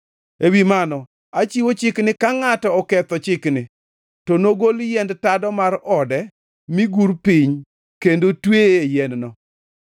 Ewi mano, achiwo chik ni ka ngʼato oketho chikni, to nogol yiend tado mar ode mi gur piny kendo tweye e yien-no.